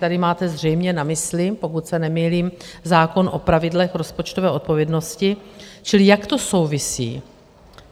Tady máte zřejmě na mysli, pokud se nemýlím, zákon o pravidlech rozpočtové odpovědnosti - čili jak to souvisí?